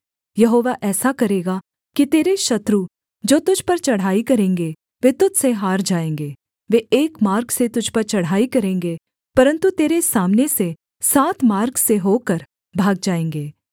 यहोवा ऐसा करेगा कि तेरे शत्रु जो तुझ पर चढ़ाई करेंगे वे तुझ से हार जाएँगे वे एक मार्ग से तुझ पर चढ़ाई करेंगे परन्तु तेरे सामने से सात मार्ग से होकर भाग जाएँगे